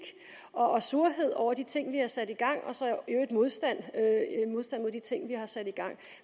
og surhed over de ting vi har sat i gang og så i øvrigt modstand mod de ting vi har sat i gang